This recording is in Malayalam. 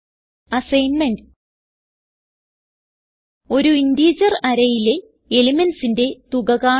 അസ്സൈൻമെന്റ് ഒരു ഇന്റിജർ arrayയിലെ elementsന്റെ തുക കാണുക